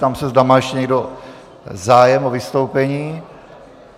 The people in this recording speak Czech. Ptám se, zda má ještě někdo zájem o vystoupení.